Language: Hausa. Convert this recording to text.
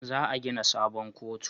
Za a gina sabon kotu